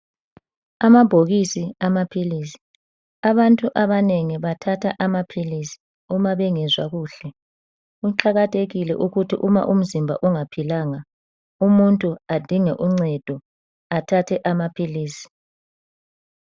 Amabhokisi amaphilisi. Abantu abanengi bathatha amaphilisi uma bengezwa kuhle. Kuqakathekile ukuthi uma umzimba ungaphilanga umuntu adinge uncedo athathe amaphilisi.